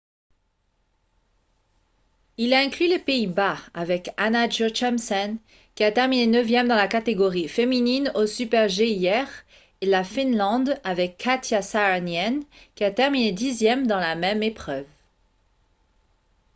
ils incluent les pays-bas avec anna jochemsen qui a terminé neuvième dans la catégorie féminine au super-g hier et la finlande avec katja saarinen qui a terminé dixième dans la même épreuve